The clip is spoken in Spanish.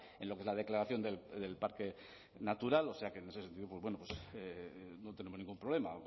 en lo que es la declaración del parque natural o sea que en ese sentido no tenemos ningún problema